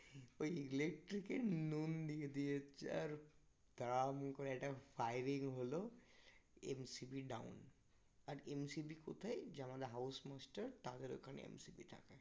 ওই ইলেকট্রিকের নুন দিয়ে দিয়েছে আর ধারাম করে একটা firing হলো MCB down আর MCB কোথায়? যে আমাদের house master তাদের ওখানে MCB থাকে